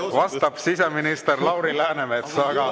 Vastab siseminister Lauri Läänemets.